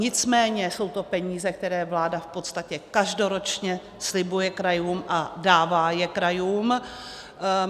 Nicméně jsou to peníze, které vláda v podstatě každoročně slibuje krajům a dává je krajům.